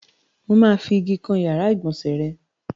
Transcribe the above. Mà á fi igi kan ìyàrá-ìgbọ̀nsẹ̀ rẹ.